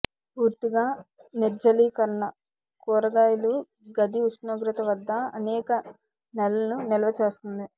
పూర్తిగా నిర్జలీకరణ కూరగాయలు గది ఉష్ణోగ్రత వద్ద అనేక నెలలు నిల్వ చేస్తుంది